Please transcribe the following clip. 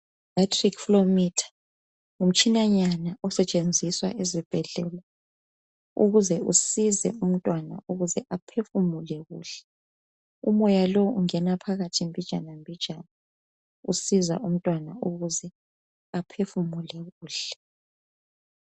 Batric flyometer ngumtshinanyana osetshenziswa ezibhedlela ukuze usize umntwana ukuze aphefumule kuhle. Umoya lo ungena phakathi mbijana mbijana usiza umntwana ukuze aphefumule kuhle.